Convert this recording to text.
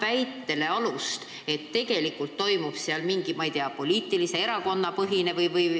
See annaks alust väitele, et seal toimub mingi, ma ei tea, erakonnapõhine või ...